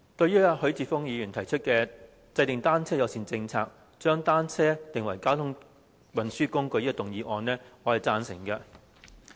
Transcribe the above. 主席，許智峯議員提出"制訂單車友善政策，將單車定為交通運輸工具"的議案，我是贊成的。